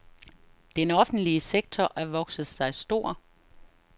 Den offentlige sektor er vokset sig stor.